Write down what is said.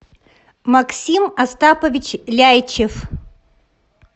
максим остапович ляйчев